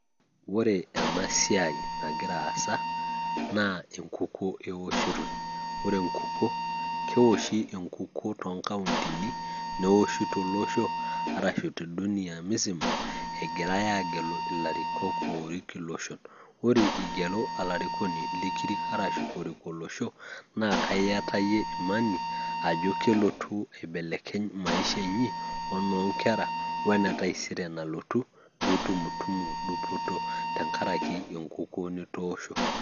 oree ena siai nagira aasa, naa enkuko eoshitoi, ore enkukuo keoshi enkuko too nkauntini, neoshi tolosho, arashu te dunia musiama, egirae aagelu ilarikok oorik iloshon, ore igelu olarikoni likirik arashu orik olosho naa kaa iyata oyie imani ajo kelotu aibelekeny maisha inyi, onoo nkera, wene taisere nalotu pee itumutumu dupoto tenkaraki enkuko nitoosho.